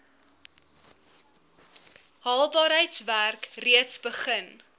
haalbaarheidswerk reeds begin